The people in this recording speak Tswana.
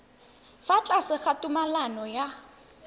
fa tlase ga tumalano ya